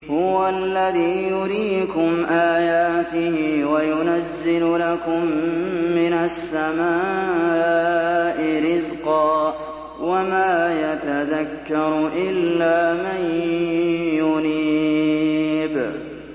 هُوَ الَّذِي يُرِيكُمْ آيَاتِهِ وَيُنَزِّلُ لَكُم مِّنَ السَّمَاءِ رِزْقًا ۚ وَمَا يَتَذَكَّرُ إِلَّا مَن يُنِيبُ